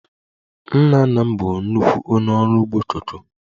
Nna nna m bụ nnukwu onye ọrụ ugbo koko